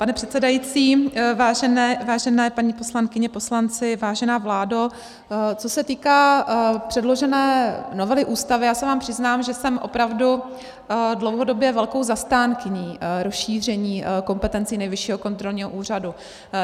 Pane předsedající, vážené paní poslankyně, poslanci, vážená vládo, co se týká předložené novely Ústavy, já se vám přiznám, že jsem opravdu dlouhodobě velkou zastánkyní rozšíření kompetencí Nejvyššího kontrolního úřadu.